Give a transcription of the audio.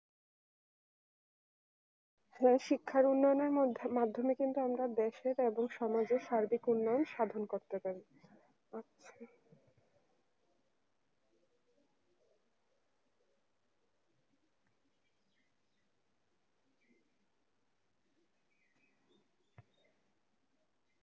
হ্যাঁ শিক্ষার উন্নয়নের মাধ্যমে কিন্তু আমরা দেশের এবং সমাজের সার্বিক উন্নয়ন সাধন করতে পারি